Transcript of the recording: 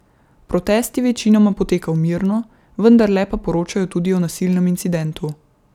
Protest je večinoma potekal mirno, vendarle pa poročajo tudi o nasilnem incidentu.